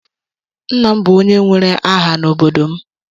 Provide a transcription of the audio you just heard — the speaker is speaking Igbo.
Nna m bụ onye nwere aha n'obodo m.